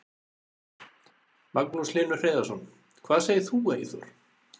Magnús Hlynur Hreiðarsson: Hvað segir þú Eyþór?